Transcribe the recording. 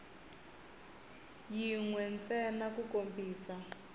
yin we ntsena ku kombisa